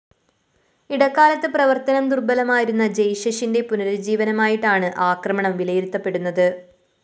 ഇടക്കാലത്ത് പ്രവര്‍ത്തനം ദുര്‍ബലമായിരുന്ന ജയ്‌ഷെഷിന്റെ പുനരുജ്ജീവനമായിട്ടാണ് ആക്രമണം വിലയിരുത്തപ്പെടുന്നത്